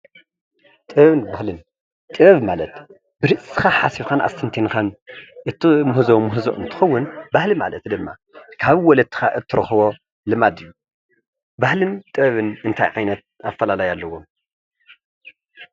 ጥበብን ባህልን ጥበብ ማለት ብርእስኻ ሓሲብካን ኣስተንቲንካን እትምህዞ ምህዞ እንትኸውን ባህሊ ማለት ድማ ካብ ወለድኻ እትረኽቦ ልማድ እዩ። ባህልን ጥበብን እንታይ ዓይነት ኣፈላላይ ኣለዎም?